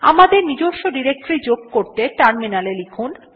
আমাদের নিজস্ব ডিরেক্টরী যোগ করতে টার্মিনালে লিখুন